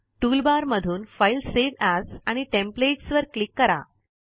toolbar मधून file save as आणि templates वर क्लिक करा